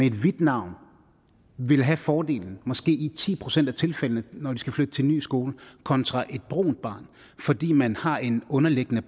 et hvidt navn ville have fordelen i måske ti procent af tilfældene når det skal flytte til en ny skole kontra et brunt barn fordi man har en underliggende